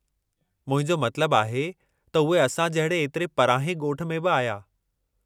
मुंहिंजो मतिलबु आहे त उहे असां जहिड़े एतिरे परांहें ॻोठ में बि आया।